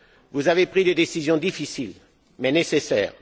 Vous avez pris des décisions difficiles, mais nécessaires.